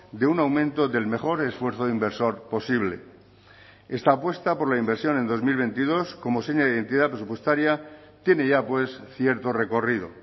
de un aumento del mejor esfuerzo inversor posible esta apuesta por la inversión en dos mil veintidós como seña de identidad presupuestaria tiene ya pues cierto recorrido